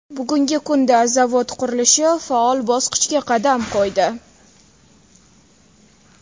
Bugungi kunda zavod qurilishi faol bosqichga qadam qo‘ydi.